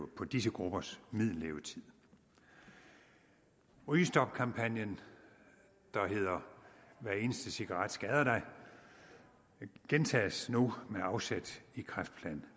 på disse gruppers middellevetid rygestopkampagnen der hedder hver eneste cigaret skader dig gentages nu med afsæt i kræftplan